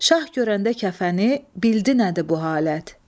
Şah görəndə kəfəni, bildi nədir bu halət.